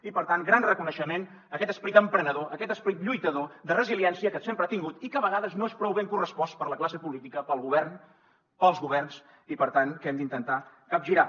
i per tant gran reconeixement a aquest esperit emprenedor a aquest esperit lluitador de resiliència que sempre ha tingut i que de vegades no és prou ben correspost per la classe política pel govern pels governs i per tant que hem d’intentar capgirar